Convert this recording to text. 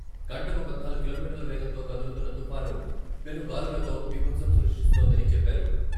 గంటకు పద్నాలుగు కిలోమీటర్ల వేగంతో కదులుతున్న తుఫాను పెనుగాలులతో బీభత్సం సృష్టిస్తోందని చెప్పారు.